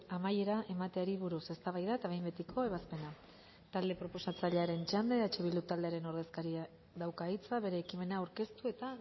amaiera emateari buruz eztabaida eta behin betiko ebazpena talde proposatzailearen txanda eh bildu taldearen ordezkariak dauka hitza bere ekimena aurkeztu eta